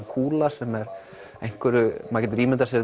kúla sem er maður getur ímyndað sér